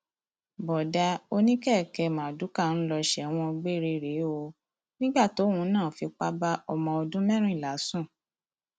bóódá oníkèké marduká ń lọ sẹwọn gbére rèé o nígbà tóun náà fipá bá ọmọ ọdún mẹrìnlá sùn